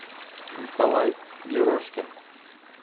николай ерошкин